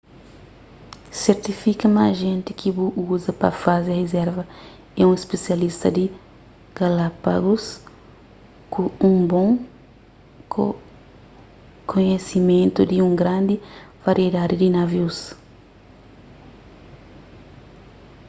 sertifika ma ajenti ki bu uza pa faze rizerva é un spisialista di galápagus ku un bon kohesimentu di un grandi variedadi di navius